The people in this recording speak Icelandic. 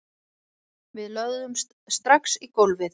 Við lögðumst strax í gólfið